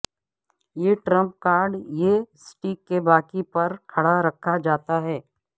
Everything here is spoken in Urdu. یہ ٹرمپ کارڈ یہ اسٹیک کے باقی پر کھڑا رکھا جاتا ہے